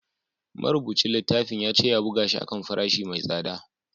Marubucin littafin ya ce ya buga shi a kan farashi mai tsada